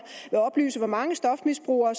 vil oplyse hvor mange stofmisbrugere